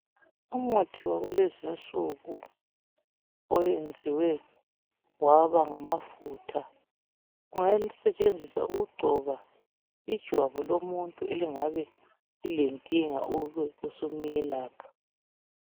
Umuthi wakulezinsuku oyenziwe waba ngamafutha . Uyasetshenziswa ukugcona ijwabu lomuntu elingabe lilenkinga ube usumuyelapha.